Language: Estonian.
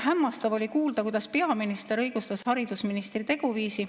Hämmastav oli kuulda, kuidas peaminister õigustas haridusministri teguviisi.